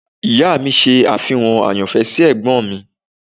Ìyá mi ṣe àfihàn àyànfẹ́ sí Ẹ̀gbọ́n mi.